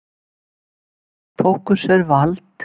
Tóku sér vald